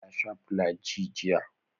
Ya shaa flu-j jiya.